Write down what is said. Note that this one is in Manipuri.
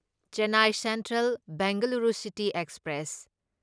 Chennai central Bengaluru city express